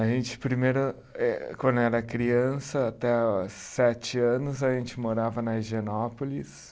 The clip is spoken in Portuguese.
A gente, primeiro, eh quando era criança, até os sete anos, a gente morava na Higienópolis.